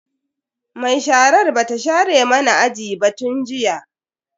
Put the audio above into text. Mai sharar bata share mana aji ba tun jiya.